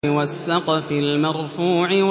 وَالسَّقْفِ الْمَرْفُوعِ